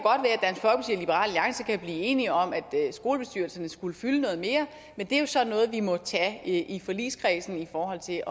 blive enige om at skolebestyrelserne skulle fylde noget mere men det er jo så noget vi må tage i forligskredsen i forhold til